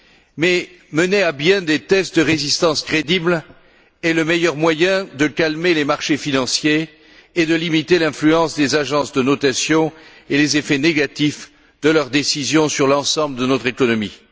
Mais mener à bien des tests de résistance crédibles est le meilleur moyen de calmer les marchés financiers et de limiter l'influence des agences de notation et les effets négatifs de leurs décisions sur l'ensemble de notre économie.